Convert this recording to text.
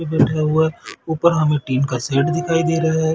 ये बैठा हुआ है ऊपर हमें टीन का सेड दिखाई दे रहा है।